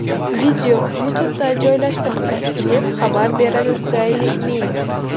Video YouTube’da joylashtirildi, deb xabar beradi Daily Mail.